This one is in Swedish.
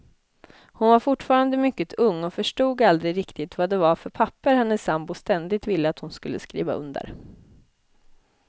Hon var fortfarande mycket ung och förstod aldrig riktigt vad det var för papper hennes sambo ständigt ville att hon skulle skriva under.